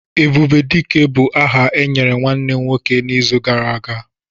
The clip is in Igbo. "Ebubedike" bu áhà e nyere nwanne m nwoke n''izu gara aga